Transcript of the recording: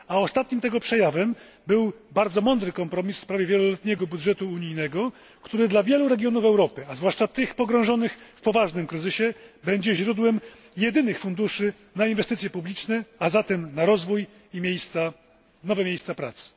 Ostatnim tego przejawem był bardzo mądry kompromis w sprawie wieloletniego budżetu unijnego, który dla wielu regionów Europy, a zwłaszcza tych pogrążonych w poważnym kryzysie, będzie źródłem jedynych funduszy na inwestycje publiczne, a zatem na rozwój i nowe miejsca pracy.